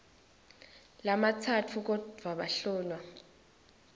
lamatsatfu kodvwa bahlolwa